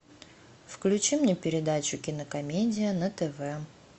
включи мне передачу кинокомедия на тв